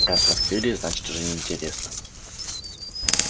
раз раскрыли значит уже неинтересно